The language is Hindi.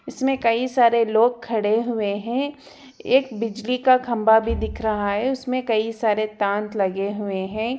इसमें कई सारे लोग खड़े हुए हैं एक बिजली का खंबा भी दिख रहा है उसमें कई सारे तांत लगे हुए हैं।